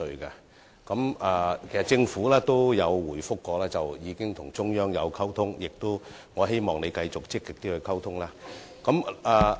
其實，政府曾回覆表示已經與中央溝通，我希望局長會繼續積極溝通。